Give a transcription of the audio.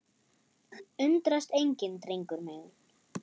Undrast enginn, drengur minn.